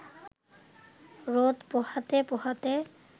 রোদ পোহাতে পোহাতে